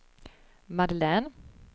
Madeleine